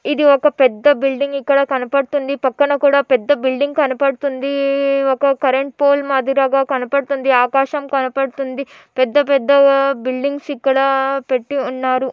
ఇది ఒక పెద్ద బిల్డింగ్ ఇక్కడ కనపడుతుంది. పక్కన కూడా పెద్ద బిల్డింగ్ కనపడుతుందీ. ఒక కరెంట్ పోల్ మాదిరిగా కనపడుతుంది. ఆకాశం కనపడుతుంది. పెద్ద పెద్ద బిల్డింగ్స్ ఇక్కడ పెట్టి ఉన్నారు.